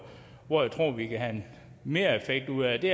tror vi kan have en mereffekt ud af det